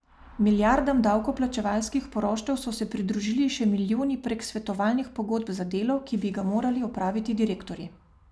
Milijardam davkoplačevalskih poroštev so se pridružili še milijoni prek svetovalnih pogodb za delo, ki bi ga morali opraviti direktorji.